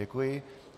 Děkuji.